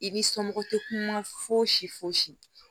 I ni somɔgɔw tɛ kuma fosi fosi